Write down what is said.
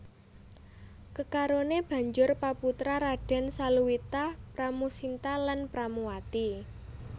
Kekarone banjur peputra Raden Saluwita Pramusinta lan Pramuwati